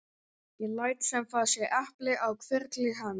Ég læt sem það sé epli á hvirfli hans.